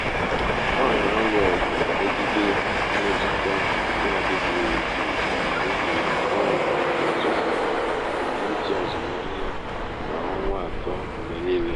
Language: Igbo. ọ ọ na-alụ ọgụ megide mmetụta nke adịghị ezu ezu n’ihi na ọ na-atụfu ebumnuche azụmahịa kwa ọnwa atọ mgbe niile.